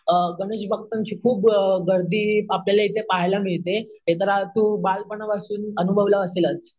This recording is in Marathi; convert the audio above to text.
गणेशभक्तांची खूप मोठी गर्दी आपल्याला इथे पहायला मिळते हे तर तू तू बालपणापासून अनुभवलं असेलच